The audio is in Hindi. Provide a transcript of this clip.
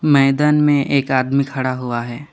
मैदान में एक आदमी खड़ा हुआ है।